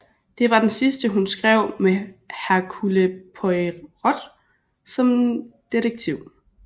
Det var den sidste hun skrev med Hercule Poirot som detektiv